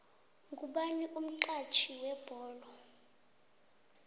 ngubani umxhatjhi webholo